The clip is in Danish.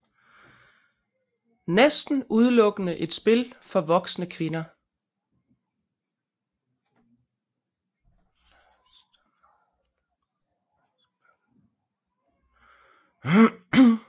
Næsten udelukkende et spil for voksne kvinder